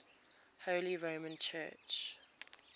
holy roman church